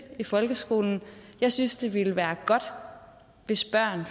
i folkeskolen jeg synes det ville være godt hvis børn